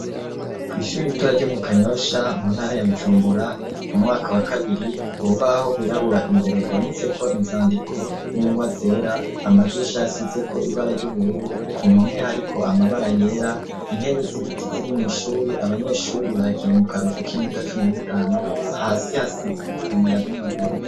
kwishuri itora ryo mu kanyosha mu ntara ya bujumbura mu mwaka wa kabiri, urubaho gwirabura imbere rwanditseko inzandiko n'ingwa zera amadirisha asizeko ibara ry'ubururu, ku mpome hariko amabara yera, intebe z'ibiti ziri mw’ishuri abanyeshuri bagiye mu karuhuko k'iminota cumi nitanu hasi hasize icima ya bamagurize.